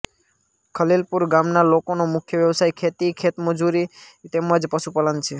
ખલીલપુર ગામના લોકોનો મુખ્ય વ્યવસાય ખેતી ખેતમજૂરી તેમ જ પશુપાલન છે